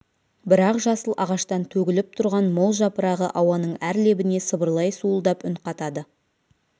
бірақ жасыл ағаштан төгіліп тұрған мол жапырағы ауаның әр лебіне сыбырлай суылдап үн қатады